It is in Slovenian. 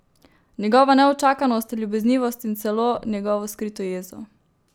Njegovo neučakanost, ljubeznivost in celo njegovo skrito jezo.